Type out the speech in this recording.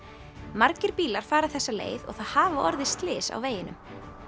margir bílar fara þessa leið og það hafa orðið slys á veginum